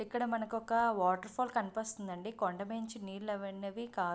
ఇక్కడ మనకి ఒక వాటర్ఫాల్ కనిపిస్తుంది అండి. కొండా మీద నుంచి నీళ్లు అవి అని కారుతూ --